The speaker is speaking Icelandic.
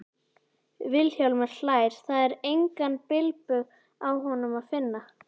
Vilhjálmur hlær, það er engan bilbug á honum að finna.